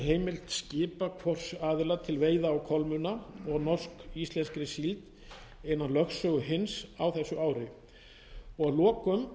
heimild skipa hvors aðila til veiða á kolmunna og norsk íslenskri síld innan lögsögu hins á þessu ári